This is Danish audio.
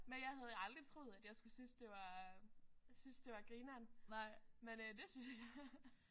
Men jeg havde jo aldrig troet at jeg skulle synes det var synes det var grineren men øh det synes jeg